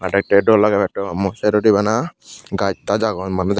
aa dekte yo dol lage modde bana gaj taj agon manuj.